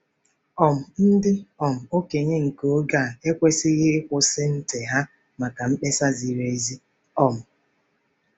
um Ndị um okenye nke oge a ekwesịghị ‘ịkwụsị ntị ha’ maka mkpesa ziri ezi um.